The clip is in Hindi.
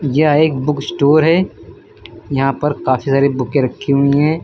यह एक बुक स्टोर है यहां पर काफी सारी बुके रखी हुई हैं।